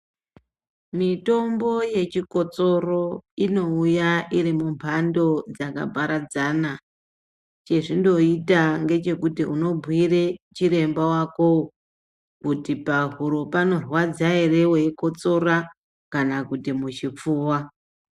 Mitombo yechikotsoro inouya iri mumbando dzakaparadzana chezvinoita ngechekuti unobhuire chiremba wakowo kuti pahuro panorwadza ere weikotsora kana kuti muchipfuva